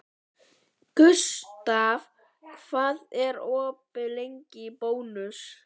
Gustav, hvað er opið lengi í Bónus?